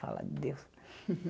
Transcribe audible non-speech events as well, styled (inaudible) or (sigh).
Falar de Deus. (laughs)